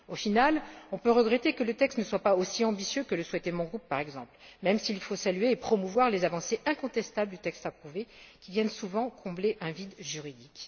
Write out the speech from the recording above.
Au final, on peut regretter que le texte ne soit pas aussi ambitieux que le souhaitait mon groupe, par exemple, même s'il faut saluer et promouvoir les avancées incontestables du texte approuvé, qui viennent souvent combler un vide juridique.